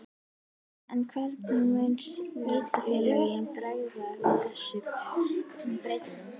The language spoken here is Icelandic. En hvernig munu sveitarfélögin bregðast við þessum breytingum?